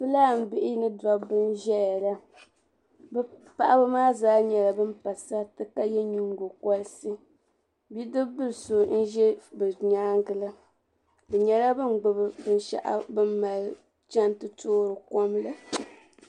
Fulanibihi ni dobi. n zɛya la. bi paɣib maa zaa nyala ban pa sarit ka ye nyin go koriti bidibilso n zɛ bi nyaaŋa la bi nyala bin gbubi. binshɛɣu bin mali chan ti toori komla.